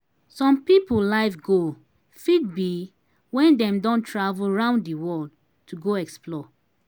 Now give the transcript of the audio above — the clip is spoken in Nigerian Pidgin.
some pipo life goal fit be when dem don travel round di world to go explore